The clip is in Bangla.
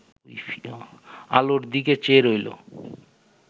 আলোর দিকে চেয়ে রইল